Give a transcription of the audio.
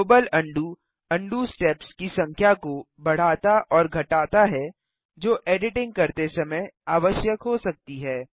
global undo undo steps की संख्या को बढ़ाता और घटाता है जो एडिटिंग करते समय आवश्यक हो सकती है